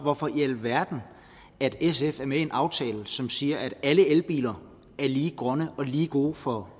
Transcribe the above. hvorfor i alverden sf er med i en aftale som siger at alle elbiler er lige grønne og lige gode for